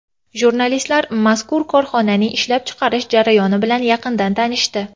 Jurnalistlar mazkur korxonaning ishlab chiqarish jarayoni bilan yaqindan tanishdi.